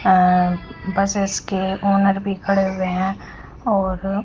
अं buses के owner भी खड़े हुए हैं और--